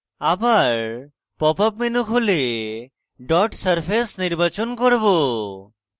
আবার pop up menu খুলে dot surface নির্বাচন করব